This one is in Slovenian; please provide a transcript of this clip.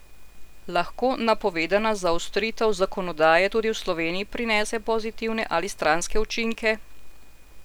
Lahko napovedana zaostritev zakonodaje tudi v Sloveniji prinese pozitivne ali stranske učinke?